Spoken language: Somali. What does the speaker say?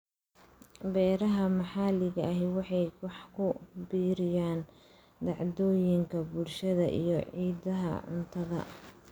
Beeraha maxalliga ahi waxay wax ku biiriyaan dhacdooyinka bulshada iyo ciidaha cuntada.